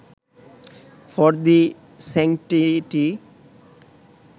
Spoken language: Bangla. for the sanctity